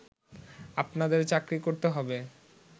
আপনাদের চাকরি করতে হবে